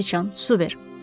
Göysüçan, su ver.